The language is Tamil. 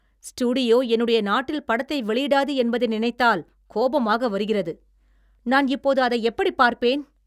ஸ்டுடியோ என்னுடைய நாட்டில் படத்தை வெளியிடாது என்பதை நினைத்தால் கோபமாக வருகிறது. நான் இப்போது அதை எப்படிப் பார்ப்பேன்?